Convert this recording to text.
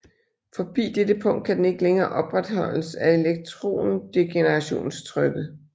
Forbi dette punkt kan den ikke længere opretholdes af elektrondegenerationstrykket